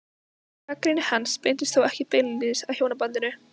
Gagnrýni hans beinist þó ekki beinlínis að hjónabandinu.